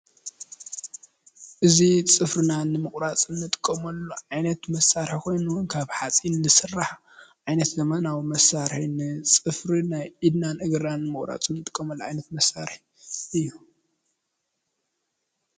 እዙ ጽፍርናን ምቝራጽን ጥቀመሉ ዓይነት መሣርሕ ኾይኑ ንካብ ሓጺን ንድስራሕ ዓይነት ዘመናዊ መሣርን ጽፍር ናይ ኢድናን እግራን ምቝራጽን ጥቆመሉ ኣይነት መሣርሕ እዩ።